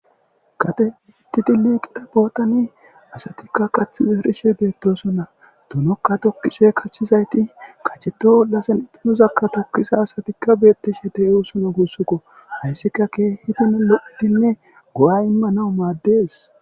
Kate ittiti liiqida bootani asatikka kath girishe beettosunna dunokka tokkisoy kachizayti kacheto oldasen ixunuzakka tokkisa asatikka beetti she te e husuno gussukko hayssika ke hidino lo'itinne go'a imma nau maaddees.